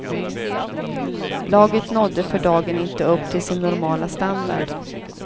Laget nådde för dagen inte upp till sin normala standard.